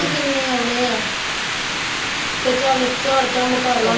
ਕਿੰਨੇ ਆਉਣੇ ਆਂ ਤੇ ਚੱਲ ਝਾੜ ਝੰਬ ਕਰ ਲਵਾਂ